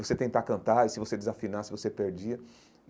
Você tentar cantar, e se você desafinar, se você perdia.